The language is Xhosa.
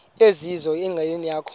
ezizizo enqileni yakho